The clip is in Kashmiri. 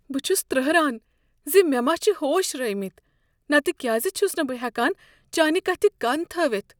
بہ چھُس ترہران ز مےٚ ما چھ ہوش رٲوۍمٕتۍ نتہٕ کیٛاز چھس نہٕ بہٕ ہیکان چانہ کتھِ کن تھٲوتھ دوس اکھَ